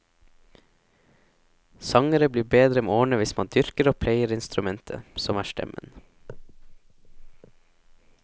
Sangere blir bedre med årene hvis man dyrker og pleier instrumentet, som er stemmen.